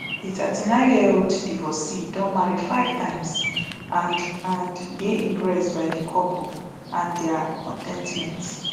di thirty-nine year old divorcee don marry five times and and dey impressed by di couple and dia con ten tment